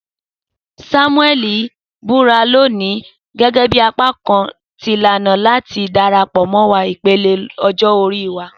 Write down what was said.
Samueli n bura loni gẹgẹbi apakan ti ilana lati darapọ mọ ipele ọjọ ori wa.